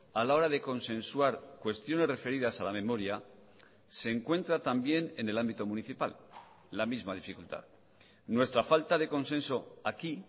a la hora de consensuar cuestiones referidas a la memoria se encuentra también en el ámbito municipal la misma dificultad nuestra falta de consenso aquí